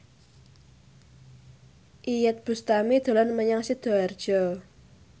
Iyeth Bustami dolan menyang Sidoarjo